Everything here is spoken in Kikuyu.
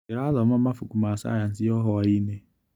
Ndĩrathoma mabuku ma cayanici o hwainĩ.